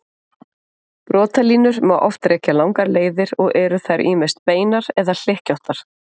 Brotalínur má oft rekja langar leiðir og eru þær ýmist beinar eða hlykkjóttar.